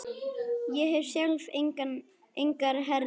Ég hef sjálf engar herðar.